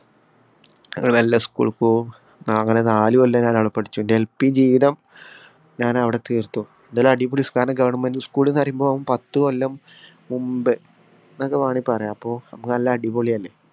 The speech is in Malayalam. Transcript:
ഞങ്ങള് മെല്ലെ school ഇല്‍ പോകും. അങ്ങനെ നാലു കൊല്ലം ഞാനവിടെ പഠിച്ചു. എന്‍റെ LP ജീവിതം ഞാനവിടെ തീര്‍ത്തു. എന്തായാലും അടിപൊളി കാരണം govt school എന്നു പറയുമ്പോ പത്തുകൊല്ലം മുമ്പേ എന്നൊക്കെ വേണമെങ്കി പറയാം. അപ്പൊ